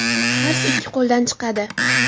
Qars ikki qo‘ldan chiqadi.